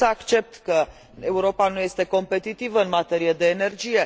Pot să accept că Europa nu este competitivă în materie de energie.